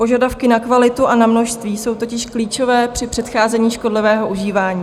Požadavky na kvalitu a na množství jsou totiž klíčové při předcházení škodlivého užívání.